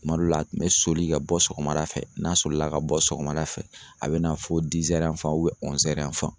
Kuma dɔw la a tun bɛ soli ka bɔ sɔgɔmada fɛ n'a solila ka bɔ sɔgɔmada fɛ a bɛ na fɔ